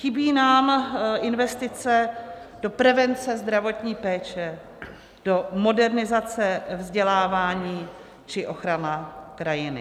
Chybí nám investice do prevence zdravotní péče, do modernizace vzdělávání či ochrany krajiny.